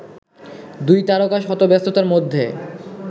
দুই তারকা শত ব্যস্ততার মধ্যে